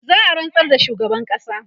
za'a rantsar da shugaban ƙasa